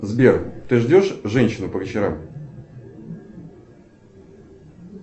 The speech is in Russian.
сбер ты ждешь женщину по вечерам